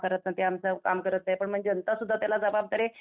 हे आमचं कामं करत नाहीत ते आमचं काम करत नाहीत म्हणजे जनता सुद्धा त्याला जबाबदार आहे